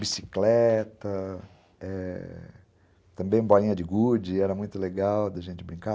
Bicicleta, é... também bolinha de gude, era muito legal da gente brincar.